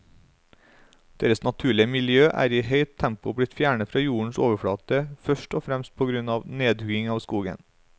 Deres naturlige miljø er i høyt tempo blitt fjernet fra jordens overflate, først og fremst på grunn av nedhugging av skogen.